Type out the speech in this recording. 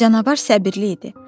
Canavar səbirli idi.